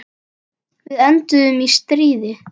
Við enduðum í stríði.